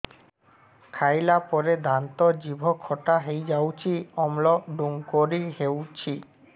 ଖାଇଲା ପରେ ଦାନ୍ତ ଜିଭ ଖଟା ହେଇଯାଉଛି ଅମ୍ଳ ଡ଼ୁକରି ହଉଛି